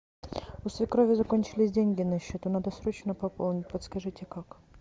у свекрови закончились деньги на счету надо срочно пополнить подскажите как